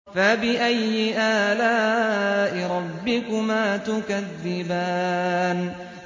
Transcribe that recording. فَبِأَيِّ آلَاءِ رَبِّكُمَا تُكَذِّبَانِ